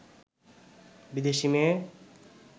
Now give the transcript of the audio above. বিদেশী মেয়ে